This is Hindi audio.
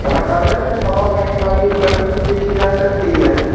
यहां टायर में हवा भरने वाली उपकरण भी देखी जा सकती है।